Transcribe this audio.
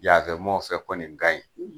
Yafɛmɔgɔw fɛ kɔni ka ɲi